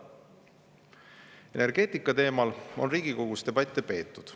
Energeetika teemal on Riigikogus debatte peetud.